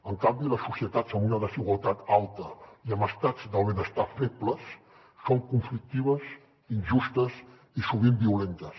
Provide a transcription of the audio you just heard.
en canvi les societats amb una desigualtat alta i amb estats del benestar febles són conflictives injustes i sovint violentes